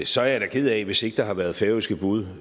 så er jeg da ked af hvis ikke der har været færøske bud